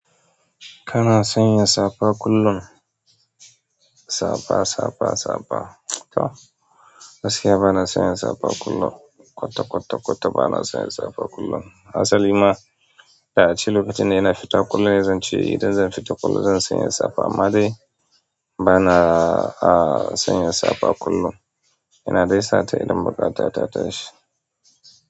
Kana sanya safa kullum? Sapa, safa, safa. To gaskiya bana sanya safa kullum. Kwata, kwata, kwata bana sanya safa kullum. Hasali ma da a ci lokacin da ina fita kullum zan ce idan zan fita kullum zan sanya safa amma dai banaa sanya safa kullum. Ina dai sata idan buƙata ta tashi.